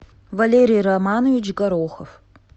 валерий романович горохов